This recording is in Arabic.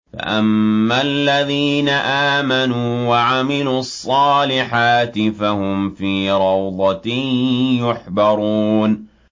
فَأَمَّا الَّذِينَ آمَنُوا وَعَمِلُوا الصَّالِحَاتِ فَهُمْ فِي رَوْضَةٍ يُحْبَرُونَ